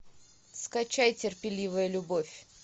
скачай терпеливая любовь